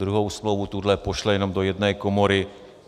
Druhou smlouvu, tuhle, pošle jenom do jedné komory.